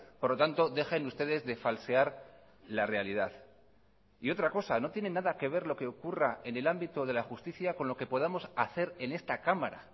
por lo tanto dejen ustedes de falsear la realidad y otra cosa no tiene nada que ver lo que ocurra en el ámbito de la justicia con lo que podamos hacer en esta cámara